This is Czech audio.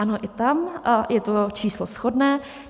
Ano, i tam je to číslo shodné.